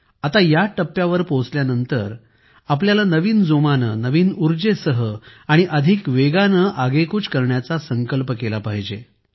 आता या टप्प्यावर पोहोचल्यानंतर आपल्याला नवीन जोमाने नवीन उर्जेसह आणि अधिक वेगाने आगेकूच करण्याचा संकल्प केला पाहिजे